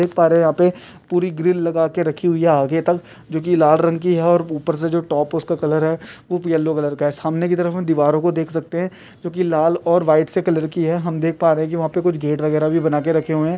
देख पा रहे है यहाँ पे पूरी ग्रिल लगा के रखी हुई है आगे तक जो की लाल रंग की है और ऊपर से जो टॉप है उसका कलर है उप येल्लो कलर का है सामने की तरफ उन दीवारों को देख सकते है जो कि लाल और वाइट से कलर की है हम देख पा रहे है कि वहाँ पे कुछ गेट वगेराह भी बनाके रखे हुए है।